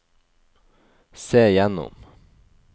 se gjennom